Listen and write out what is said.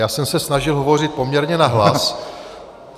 Já jsem se snažil hovořit poměrně nahlas.